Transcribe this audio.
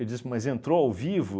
Eu disse, mas entrou ao vivo?